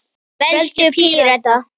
Veldu Pírata.